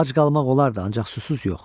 Ac qalmaq olardı, ancaq susuz yox.